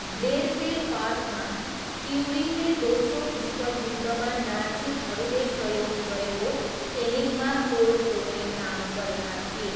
Bletchley पार्कमा, ट्युरिङले दोस्रो विश्वयुद्धमा नाजीहरूले प्रयोग गरेको एनिग्मा कोड तोड्ने काम गरेका थिए।